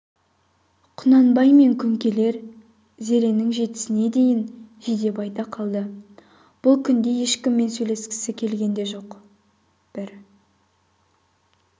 құнанбай мен күнкелер зеренің жетісіне шейін жидебайда қалды бұл күнде ешкіммен сөйлескісі де келген жоқ бір